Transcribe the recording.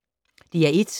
DR1